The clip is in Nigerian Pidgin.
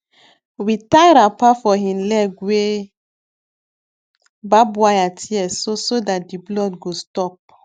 we tie wrapper for hin leg wey barb wire tear so so that the blood go stop